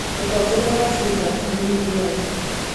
Mũtongoria wa Cuba nĩ Miguel.